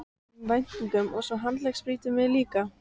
um væntingum og svo handleggsbrýturðu mig líka.